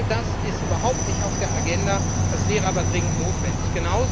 All das ist überhaupt nicht auf der Agenda, wäre aber dringend notwendig.